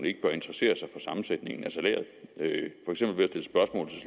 ikke bør interessere sig for sammensætningen af salæret